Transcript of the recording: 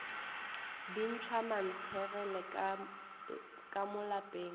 bintšhwa mantshegele ka mo lapeng